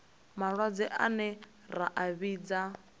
malwadze ane ra a vhidza